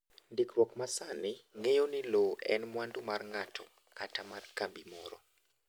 Ndikruok ma sani ng'eyo ni lowo en mwandu mar ng’ato kata mar kambi moro